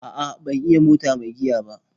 A'a ban iya mota mai giya ba.